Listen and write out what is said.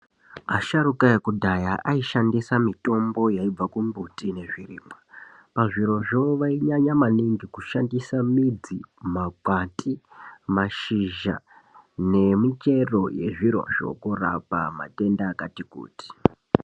Asharuka ekudhaya aishandisa mitombo yaibva kumbuti nezvirimwa. Pazvirozvo vainyanya maningi kushandisa midzi, makwati, mashizha nemichero yezvirozvo kurapa matenda akati kuti.